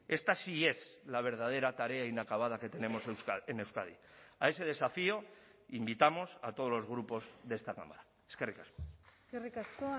esta sí es la verdadera tarea inacabada que tenemos en euskadi a ese desafío invitamos a todos los grupos de esta cámara eskerrik asko eskerrik asko